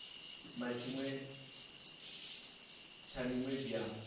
na tshiṅwe tsha miṅwedzi ya